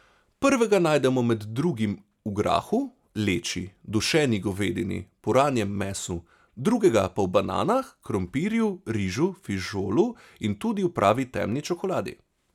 Prvega najdemo med drugim v grahu, leči, dušeni govedini, puranjem mesu, drugega pa v bananah, krompirju, rižu, fižolu in tudi v pravi temni čokoladi.